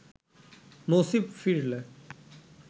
নসীব ফিরলে